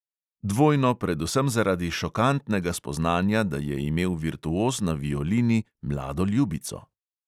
Dvojno predvsem zaradi šokantnega spoznanja, da je imel virtuoz na violini mlado ljubico.